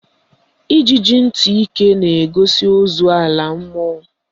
Ijiji ntị ike na-eso ozu ala a mmụọ